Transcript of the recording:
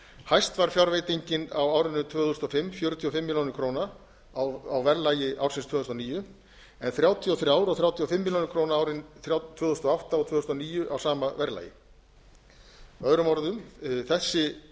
hæst var fjárveitingin á árinu tvö þúsund og fimm fjörutíu og fimm milljónir króna á verðlagi ársins tvö þúsund og níu en þrjátíu og þrjú og þrjátíu og fimm milljónir króna árin tvö þúsund og átta og tvö þúsund og níu á sama verðlagi með öðrum orðum þessi